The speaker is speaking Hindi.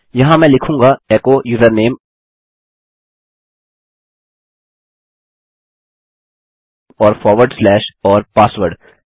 यहाँ मैं लिखूँगा एको यूजरनेम और फॉरवर्ड स्लैश और पासवर्ड